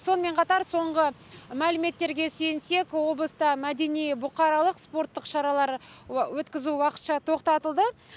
сонымен қатар соңғы мәліметтерге сүйенсек облыста мәдени бұқаралық спорттық шаралар өткізу уақытша тоқтатылды